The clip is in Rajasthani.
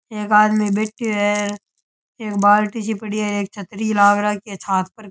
एक आदमी बैठियो है एक बाल्टी सी पड़ी है एक छतरी सी लाग रखि है छा --